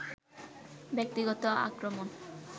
ব্যক্তিগত আক্রমণ